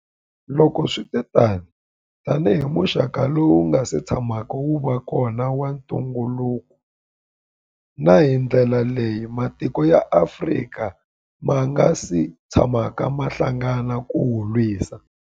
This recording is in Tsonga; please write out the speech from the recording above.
Loko swi ri tano, tanihi muxaka lowu wu nga si tshamaka wu va kona wa ntungukulu, na hi ndlela leyi matiko ya Afrika ma nga si tshamaka ma hlangana ku wu lwisa.